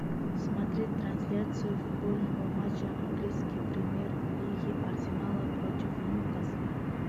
смотреть трансляцию футбольного матча английской премьер лиги арсенала против ньюкасла